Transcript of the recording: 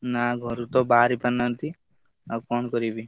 ନା ଘରୁ ତ ବାହାରିପାରୁନାହାନ୍ତି। ଆଉ କଣ କରିବି?